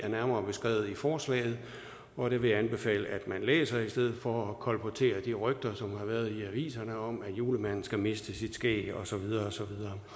nærmere beskrevet i forslaget og det vil jeg anbefale at man læser i stedet for at kolportere de rygter som har været i aviserne om at julemanden skal miste sit skæg og så videre og så